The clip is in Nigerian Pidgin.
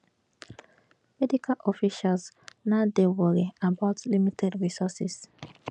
medical officials now dey wory about limited resources